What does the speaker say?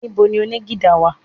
Níbo ni oní gìtá wà?